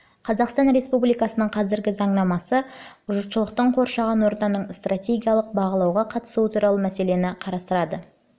қазақстан республикасының қазіргі заңнамасы жұртшылықтың қоршаған ортаны стратегиялық бағалауға қатысуы туралы мәселені қарастырады